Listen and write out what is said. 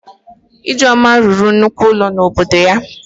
Ijeoma rụrụ nnukwu ụlọ n'obodo ya